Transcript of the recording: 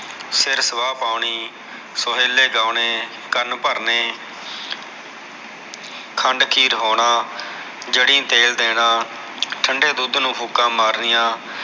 ਸਿਰ ਸੁਆਹ ਪਾਉਣੀ ਸੋਹੇਲੇ ਗਾਉਣੇ ਕਨ ਭਰਨੇ ਖੰਡ ਖੀਰ ਹੋਣਾ ਜੜੀ ਤੇਲ ਦੇਣਾ ਠੰਡੇ ਦੁਧ ਨੂ ਫੂਕਾ ਮਾਰਨੀਆ